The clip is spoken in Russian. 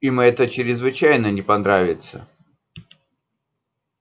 им это чрезвычайно не понравится